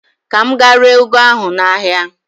Ka m gaa ree ụgụ ahụ n'ahịa.